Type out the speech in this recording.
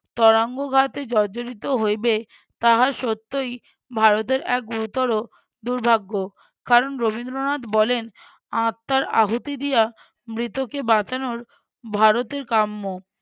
তরাঙ্গঘাতে জর্জরিত হইবে তাহা সত্যই ভারতের এক গুরুতর দুর্ভাগ্য। কারণ রবীন্দ্রনাথ বলেন- আত্মার আহুতি দিয়া মৃতকে বাঁচানোর ভারতের কাম্য